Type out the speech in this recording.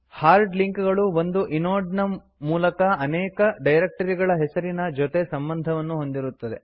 hard link ಗಳು ಒಂದು inode ನ ಮೂಲಕ ಅನೇಕ ಡೈರಕ್ಟರಿಗಳ ಹೆಸರಿನ ಜೊತೆ ಸಂಬಂಧ ಹೊಂದಿರುತ್ತವೆ